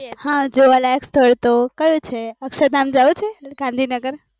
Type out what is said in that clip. હા જોવા લાયક સ્થળ તો અક્ષરધામ જવું છે ગાંધીનગર